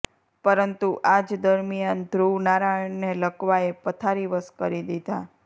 પરંતુ આ જ દરમિયાન ધ્રુવ નારાયણને લકવાએ પથારીવશ કરી દીધા